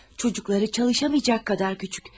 Uşaqları çalışamayacaq qədər kiçik.